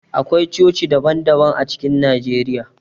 Akwai coci daban daban a cikin Najeriya.